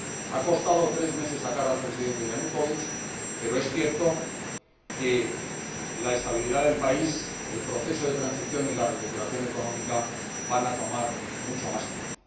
Ha costado tres meses destituir al Presidente Yanukóvich, pero es cierto que la estabilidad del país, el proceso de transición y la recuperación económica van a tomar mucho más tiempo.